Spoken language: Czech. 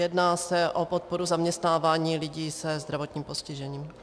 Jedná se o podporu zaměstnávání lidí se zdravotním postižením.